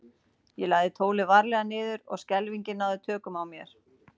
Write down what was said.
Ég lagði tólið varlega niður og skelfingin náði tökum á mér.